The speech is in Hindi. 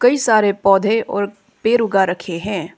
कई सारे पौधे और पेड़ उगा रखे हैं।